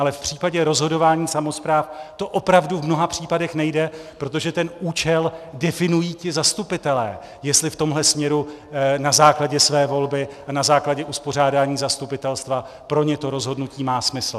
Ale v případě rozhodování samospráv to opravdu v mnoha případech nejde, protože ten účel definují ti zastupitelé, jestli v tomhle směru na základě své volby a na základě uspořádání zastupitelstva pro ně to rozhodnutí má smysl.